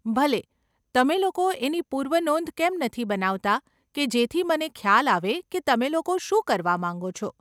ભલે, તમે લોકો એની પૂર્વનોંધ કેમ નથી બનાવતાં કે જેથી મને ખ્યાલ આવે કે તમે લોકો શું કરવા માંગો છો.